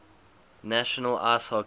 national ice hockey